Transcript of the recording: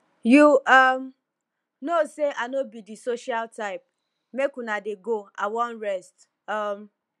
you um no say i no be the social type make una dey go i wan rest um